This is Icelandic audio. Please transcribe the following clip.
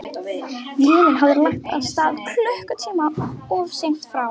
Vélin hafði lagt að stað klukkutíma of seint frá